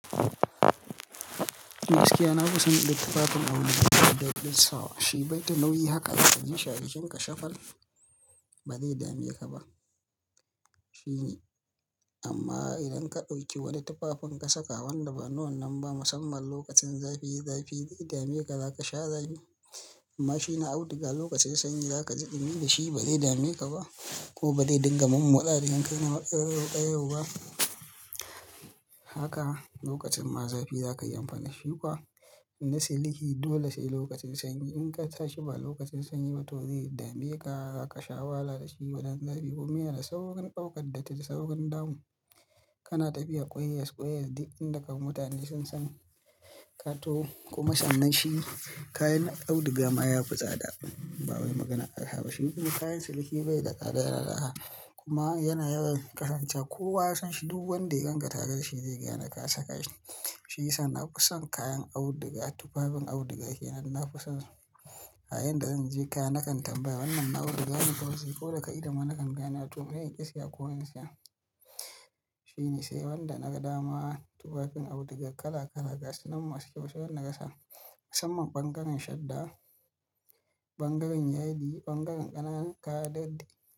Shi gaskiya na fi son in ga tufafin da nake sawa. Shi bai ta nauyi haka ka ji jikinka shafal, ba zai dame ka ba. Amma idan ka ɗauki wani tufafin ka saka wanda ba na wannan ba musamman lokacin zafi zafi zai dame ka, za ka sha zafi. Amma shi na auduga lokacin sanyi za ka ji ɗumi da shi ba zai dame ka ba ko ba zai dinga min mo motsa jikinka ya na ƙayayau ƙayayau ba. Haka lokacin ma zafi za ka yi amfani da shi kuwa. In na siliki dole sai lokacin sanyi. In ka sa shi ba lokacin sanyi ba to zai dame ka, za ka sha wahala da shi wajen zafi. Kuma yana saurin ɗaukar datti, saurin damu. Kana tafiya koyas koyas duk inda ka mutane sun san ka taho kuma sannan shi kayan auduga ma ya fi tsada. Ba wani maganan arha ba shi kuma kayan siliki bai da tsada yana da arha kuma yana yawan kasance Kowa ya san shi duk wanda ya gan ka tare da shi zai gane ka saka shi. Shi yasa na kusan kayan auduga, tufafin auduga kenan na kusan kayan da zan je ka nakan tambaya wannan na auduga ne ko? To ko daga ido ma nakan gane domin in ƙi saya ko in siya. Shine sai wanda na dama tufafin auduga kala kala ga su nan masu kyau sai wanda ka sa musamman ɓangaren shadda, ɓangaren yadi, ɓangaren ƙananan kaya da.